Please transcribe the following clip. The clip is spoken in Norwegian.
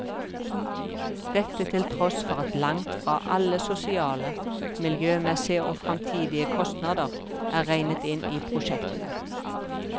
Dette til tross for at langt fra alle sosiale, miljømessige og fremtidige kostnader er regnet inn i prosjektene.